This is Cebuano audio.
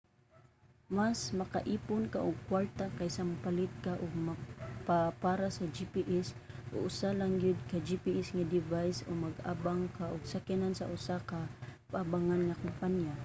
mas maka-ipon ka og kwarta kaysa mopalit ka og mapa para sa gps o usa lang gyud ka gps nga device o mag-abang ka og sakyanan sa usa ka paabangan nga kompanya